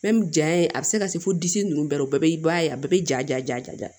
jaɲa a bɛ se ka se fo disi nunnu bɛɛ ma o bɛɛ b'i ba ye a bɛɛ be ja ja ja ja ja